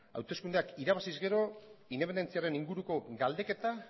hauteskundeak irabaziz gero independentziaren inguruko galdeketa